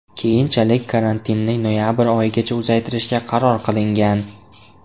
Keyinchalik karantinni noyabr oyigacha uzaytirishga qaror qilingan .